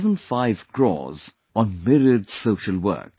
75 crores on myriad social work